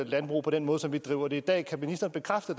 landbrug på den måde som vi driver det i dag kan ministeren bekræfte